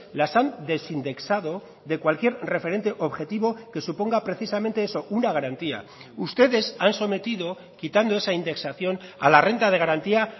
las han desindexado de cualquier referente objetivo que suponga precisamente eso una garantía ustedes han sometido quitando esa indexación a la renta de garantía